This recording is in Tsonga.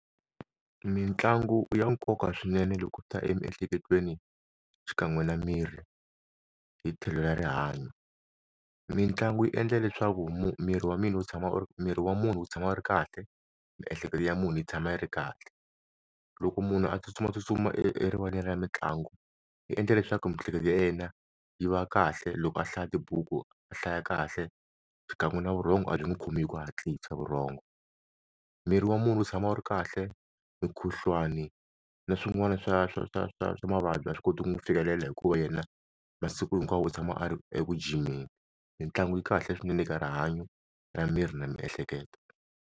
Mintlangu i ya nkoka swinene loko u ta emiehleketweni xikan'we na miri, hi tlhelo ra rihanyo mitlangu yi endla leswaku miri wa mina u tshama miri wa munhu u tshama ri kahle miehleketo ya munhu yi tshama yi ri kahle loko munhu a tsutsumatsutsuma erivaleni ra mitlangu yi endla leswaku miehleketo ya yena yi va kahle loko a hlaya tibuku a hlaya kahle xikan'we na vurhonga abyi n'wi khoma hi ku hatlisa vurhongo miri wa munhu u tshama u ri kahle mukhuhlwani na swin'wana swa swa swa swa swa mavabyi a swi koti ku n'wi fikelela hikuva yena masiku hinkwawo u tshama a ri eku jimeni mitlangu yi kahle swinene eka rihanyo ra miri na miehleketo.